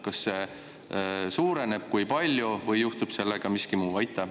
Kas see suureneb ja kui suureneb, siis kui palju, või juhtub sellega miski muu?